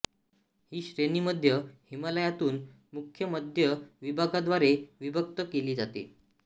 ही श्रेणी मध्य हिमालयातून मुख्य मध्य विभागाद्वारे विभक्त केली जाते